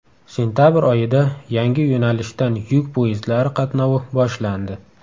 Sentabr oyida yangi yo‘nalishdan yuk poyezdlari qatnovi boshlandi.